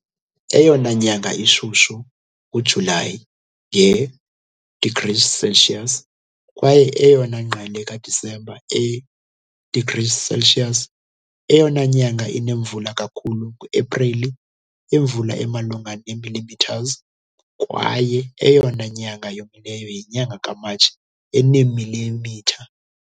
Eyona nyanga ishushu nguJulayi, nge-degrees Celsius, kwaye eyona ngqele kaDisemba, e degrees Celsius. Eyona nyanga inemvula kakhulu nguAprili, imvula emalunga ne millimeters, kwaye eyona nyanga yomileyo yinyanga kaMatshi, eneemilimitha .